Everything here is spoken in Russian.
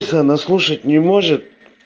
если она слушать не может